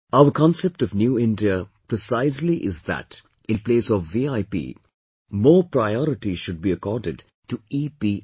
Our concept of New India precisely is that in place of VIP, more priority should be accorded to EPI